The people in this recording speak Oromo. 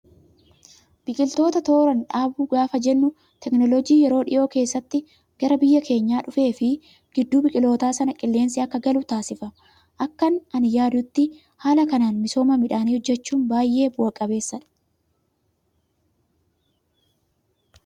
Biqiloota tooraan dhaabuu gaafa jennu teekinooloojii yeroo dhiyoo keessa gara biyya keenyaa dhufee fi gidduu biqiloota sanaa qilleensi akka galu taasifama. Akkan ani yaadutti haala kanaan misooma midhaanii hojjachuun baay'ee bu'aa qabeessadha.